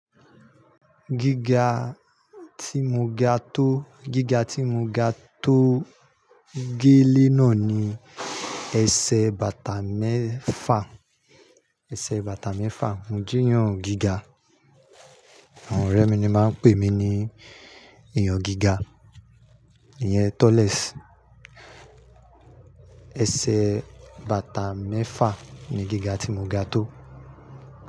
Gíga tí mo ga tó, gíga tí mo ga tó gélẹ́ náà ni ẹsẹ̀ bàtà mẹ́fà, ẹsẹ̀ bàtà mẹ́fà. Mo jé eeyàn gíga. Àwọn ọ̀rẹ́ mi ni máa ń pè mí ní èèyàn gíga, ìyẹn tallest. Ẹsẹ̀ bàtà mẹ́fà ni gíga tí mo ga tó.